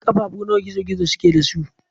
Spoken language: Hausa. Kafafu nawa gizo-gizo suke da su?